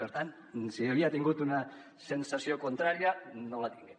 per tant si havia tingut una sensació contrària no la tinga